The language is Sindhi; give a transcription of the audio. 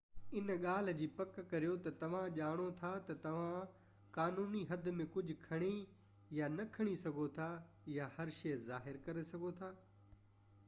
ان ڳالهہ جي پڪ ڪريو تہ توهان ڄاڻو ٿا تہ توهان قانوني حد ۾ ڪجهہ کڻي يا نہ کڻي سگهو ٿا ۽ هر شئي ظاهر ڪري سگهو ٿا